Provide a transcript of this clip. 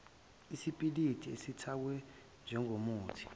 isipiliti esithakwe njengomuthi